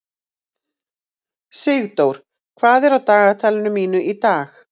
Sigdór, hvað er á dagatalinu mínu í dag?